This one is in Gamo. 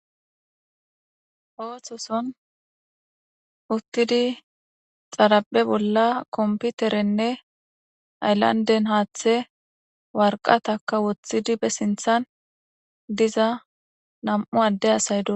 Oososon xaraphphe bolla utidi computerrenne haththe waraqatakka ba sinththan woththada nam"u asay dossona